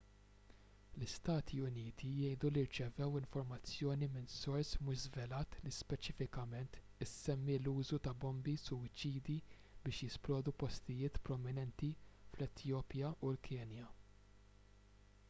l-istati uniti jgħidu li rċevew informazzjoni minn sors mhux żvelat li speċifikament issemmi l-użu ta' bombi suwiċidi biex jisplodu postijiet prominenti fl-etjopja u l-kenja